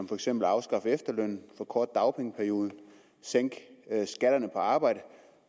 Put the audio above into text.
for eksempel at afskaffe efterlønnen forkorte dagpengeperioden og sænke skatterne på arbejde